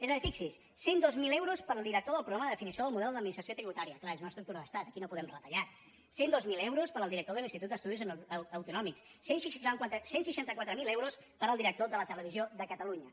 és a dir fixi’s cent i dos mil euros per al director del programa de definició del model d’administració tributària clar és una estructura d’estat aquí no podem retallar cent i dos mil euros per al director de l’institut d’estudis autonòmics cent i seixanta quatre mil euros per al director de la televisió de catalunya